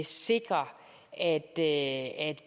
sikre at